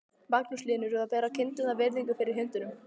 Magnús Hlynur: Og bera kindurnar virðingu fyrir hundunum?